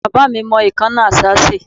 Bàbá mi mọ ìkánná àṣá ṣe.